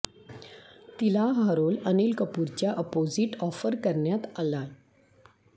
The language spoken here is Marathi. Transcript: तिला हा रोल अनिल कपूरच्या अपोझिट ऑफर करण्यात आलाय